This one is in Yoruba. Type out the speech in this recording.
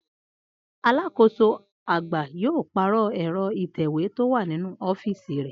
Alákòóso àgbà yóò pàrò̩ è̩ro̩ ìtè̩wé tó wà nínú ó̩fíìsì rè̩